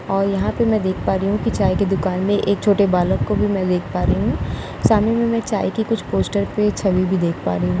और यहाँ पे मैं देख पा रही हूँ की चाय के दुकान मे एक छोटे बालक को भी में देख पा रही हूँ सामने मे में चाय के कुछ पोस्टर पे छबि भी देख पा रही हूँ।